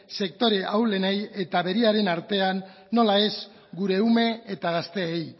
sektore ahulenei eta beraien artean nola ez gure ume eta gazteei